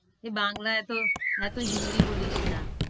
তুই বাংলা এত, এত হিন্দি বলিস না।